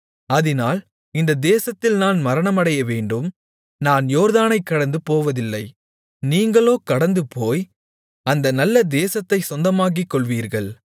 அதினால் இந்த தேசத்தில் நான் மரணமடையவேண்டும் நான் யோர்தானைக் கடந்துபோவதில்லை நீங்களோ கடந்துபோய் அந்த நல்ல தேசத்தைச் சொந்தமாக்கிக்கொள்வீர்கள்